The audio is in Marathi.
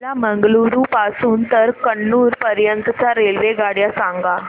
मला मंगळुरू पासून तर कन्नूर पर्यंतच्या रेल्वेगाड्या सांगा